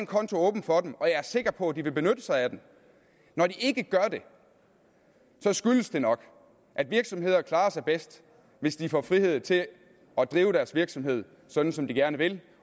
konto åben for dem og jeg er sikker på at de vil benytte sig af den når de ikke gør det skyldes det nok at virksomheder klarer sig bedst hvis de får frihed til at drive deres virksomhed sådan som de gerne vil